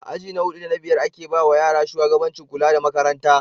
A aji na hudu da na biyar ake bawa yara shugabancin kula da Makaranta